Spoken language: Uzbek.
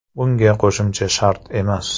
Bunga qo‘shimcha shart emas.